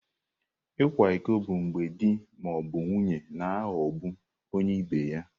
Ịkwa iko bụ mgbe di ma ọ bụ nwunye na-aghọgbu onye ibe ha.